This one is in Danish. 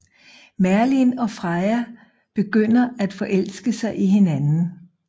Merlin og Freya begynder at forelske sig i hinanden